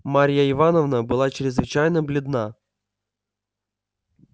марья ивановна была чрезвычайно бледна